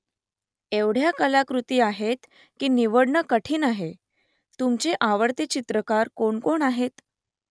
एवढ्या कलाकृती आहेत , की निवडणं कठीण आहे . तुमचे आवडते चित्रकार कोणकोण आहेत ?